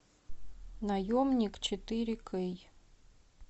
наемник четыре кей